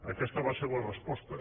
aquesta va ser la resposta